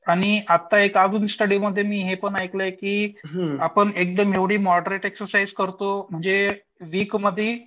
आणि आत्ता एक अजून स्टडीमध्ये मी हे पण ऐकलंय की आपण एकदम एवढी मॉडरेट एक्झरसाईझ करतो म्हणजे विकमधील.